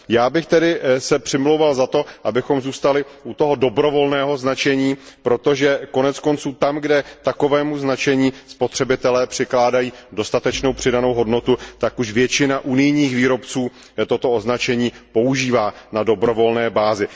Já bych se tedy přimlouval za to, abychom zůstali u toho dobrovolného značení, protože koneckonců tam, kde takovému značení spotřebitelé přikládají dostatečnou přidanou hodnotu, tak už většina unijních výrobců toto označení používá na dobrovolné bázi.